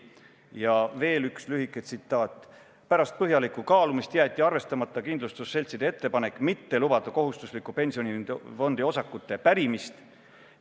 Ja veel üks lühike tsitaat: "Pärast põhjalikku kaalumist jäeti arvestamata kindlustusseltside ettepanek mitte lubada kohustusliku pensionifondi osakute pärimist.